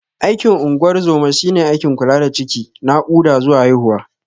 Aikin ungorzoma shine aikin kula da ciki, nakuda zuwa haihuwa.